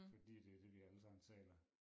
Fordi det det vi allesammen taler